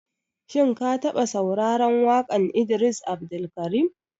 Shin ka taɓa sauraran waƙan Idris Abdulkarim?